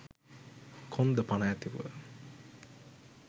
කොන්ද පණ ඇතුව